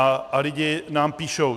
A lidi nám píšou.